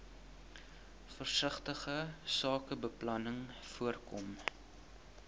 versigtige sakebeplanning voorkom